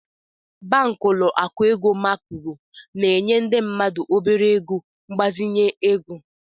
Banklọ akụ ego Macro na-enye ndị mmadụ obere ego mgbazinye ego.